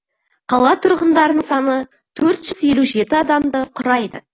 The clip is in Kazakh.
қала тұрғындарының саны төрт жүз елу жеті адамды құрайды